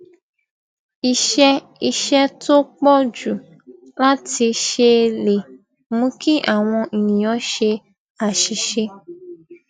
iṣé iṣé tó pò jù láti ṣe lè mú kí àwọn ènìyàn ṣe àṣìṣe